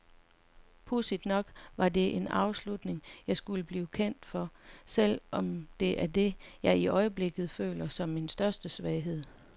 Pudsigt nok var det en afslutning, jeg skulle blive kendt for, selv om det er det, jeg i øjeblikket føler som min største svaghed.